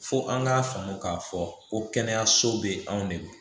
Fo an k'a faamu k'a fɔ ko kɛnɛyaso bɛ yen anw de bɛ